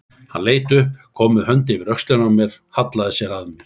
Hann leit upp, kom með hönd yfir öxlina á mér, hallaði sér að mér.